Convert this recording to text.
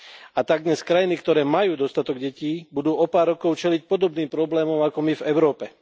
A tak dnes krajiny, ktoré majú dostatok detí, budú o pár rokov čeliť podobným problémom ako my v Európe.